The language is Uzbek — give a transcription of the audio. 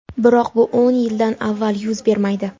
Biroq bu o‘n yildan avval yuz bermaydi.